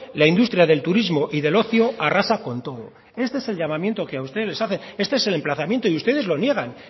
la industria del turismo y del ocio arrasa con todo este es el llamamiento que a ustedes les hacen este es el emplazamiento y ustedes lo niegan